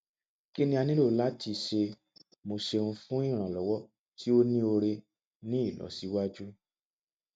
kini a nilo lati ṣe mo ṣeun fun iranlọwọ ti o ni ore ni ilosiwaju